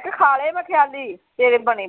ਕਿਹਾ ਖਾ ਲਏ ਮੈਂ ਖਿਆਲੀ ਤੇਰੇ ਬਣੇ।